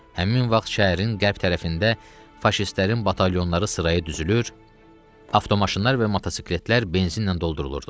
Həmin vaxt şəhərin qərb tərəfində faşistlərin batalyonları sıraya düzülür, avtomaşınlar və motosikletlər benzinlə doldurulurdu.